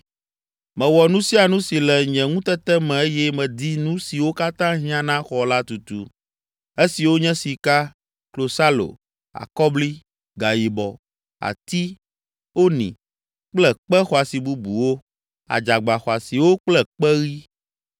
Mewɔ nu sia nu si le nye ŋutete me eye medi nu siwo katã hiã na xɔ la tutu, esiwo nye sika, klosalo, akɔbli, gayibɔ, ati, ‘oni’ kple kpe xɔasi bubuwo, adzagba xɔasiwo kple kpeɣi.